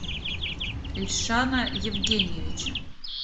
эльшана евгеньевича